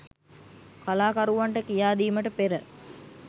කලාකරුවන්ට කියාදීමට පෙර